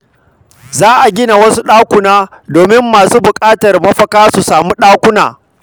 Za a gina wasu ɗakuna domin masu buƙatar mafaka su sami wurin kwana.